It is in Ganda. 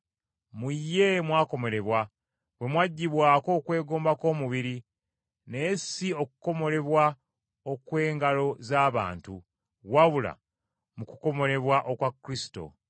Mu ye mwakomolebwa, bwe mwaggibwako okwegomba kw’omubiri, naye si okukomolebwa okw’engalo z’abantu, wabula mu kukomolebwa okwa Kristo.